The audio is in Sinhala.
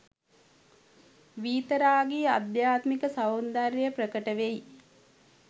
වීතරාගී අධ්‍යාත්මික සෞන්දර්යය ප්‍රකට වෙයි.